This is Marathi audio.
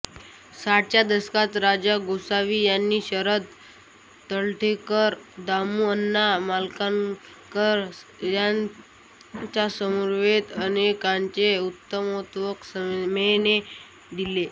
साठच्या दशकात राजा गोसावी यांनी शरद तळवलकर दामुअण्णा मालवणकर यांच्यासमवेत अनेकानेक उत्तमोत्तम सिनेमे दिले